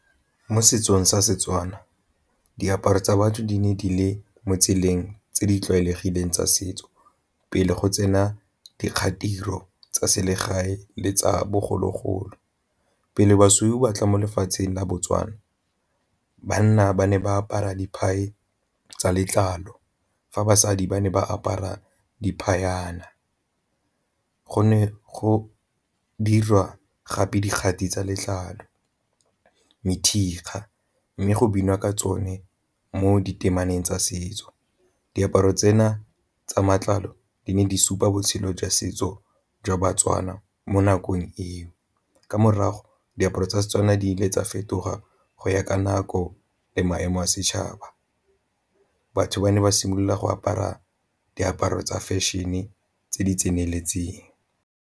Mo setsong sa Setswana diaparo tsa batho di ne di le mo tseleng tse di tlwaelegileng tsa setso pele go tsena tsa selegae le tsa bogologolo. Pele basweu ba tla mo lefatsheng la Botswana banna ba ne ba apara tsa letlalo, fa basadi ba ne ba apara , go ne go dirwa gape dikgati tsa letlalo, methikga mme go binwa ka tsone mo di temaneng tsa setso. Diaparo tsena tsa matlalo di ne di supa botshelo jwa setso jwa baTswana mo nakong eo, ka morago diaparo tsa Setswana di ile tsa fetoga go ya ka nako le maemo a setšhaba. Batho ba ne ba simolola go apara diaparo tsa fashion-e tse di tseneletseng.